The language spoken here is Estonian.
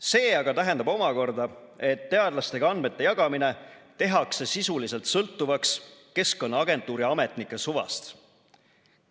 See aga tähendab omakorda, et teadlastega andmete jagamine tehakse sisuliselt sõltuvaks Keskkonnaagentuuri ametnike suvast.